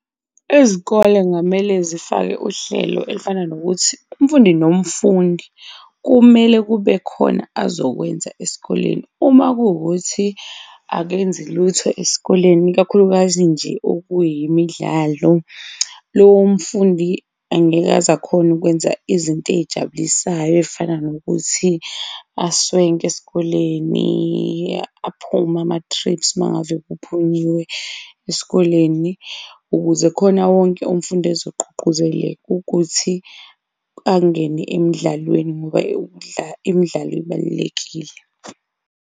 Izikole kungamele zifake uhlelo elifana nokuthi umfundi nomfundi kumele kube khona azokwenza esikoleni. Uma kuwukuthi akenzi lutho esikoleni ikakhulukazi nje okuyimidlalo, lowo mfundi angeke aze akhone ukwenza izinto ey'jabulisayo, ey'fana nokuthi aswenke esikoleni, aphume ama-trips uma ngave kuphunyiwe esikoleni, ukuze khona wonke umfundi azogqugquzeleka ukuthi angene emdlalweni ngoba imidlalo ibalulekile.